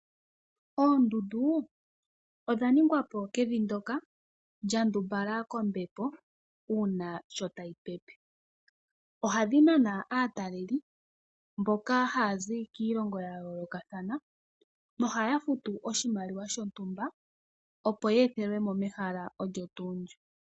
Oondundu odha ningwapo kevi ndyoka lya ndumbala kombepo uuna sho tayi pepe, ohadhi nana aataleli mboka haya zi kiilongo ya yoolokathana no haya futu oshimaliwa shontumba opo ye ethelwemo mehala olyo tuu ndyo.